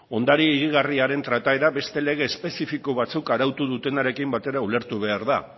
ondare higigarriaren trataera beste lege espezifiko batzuk arautu dutenarekin batera ulertu behar da